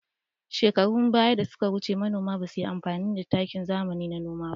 Shekarun ɓaya da suka wuce, manoma ba su yi amfani da takin zamani a noma ba.